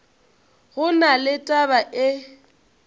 go na le taba e